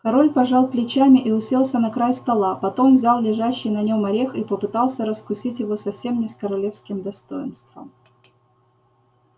король пожал плечами и уселся на край стола потом взял лежащий на нем орех и попытался раскусить его совсем не с королевским достоинством